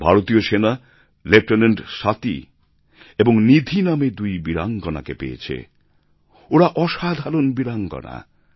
ভারতীয় সেনা লেফটেন্যান্ট স্বাতি এবং নিধি নামে দুই বীরাঙ্গনাকে পেয়েছে ওঁরা অসাধারণ বীরাঙ্গনা